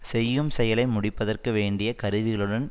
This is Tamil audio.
செய்யும் செயலை முடிப்பதற்கு வேண்டிய கருவிகளுடன்